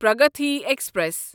Pragati express